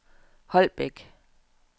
Holbæk